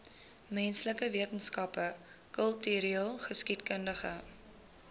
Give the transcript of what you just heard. menslike wetenskappe kultureelgeskiedkundige